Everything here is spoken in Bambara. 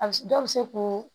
A bɛ se dɔw bɛ se k'u